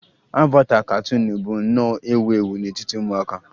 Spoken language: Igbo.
Avata katuunu bụ nnọọ ewu ewu n'etiti ụmụaka